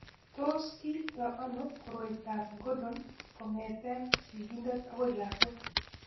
Tos kiipto ano koroitoab Gordon kong'etke sigindet akoi lakwet?